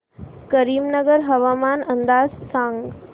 करीमनगर हवामान अंदाज सांग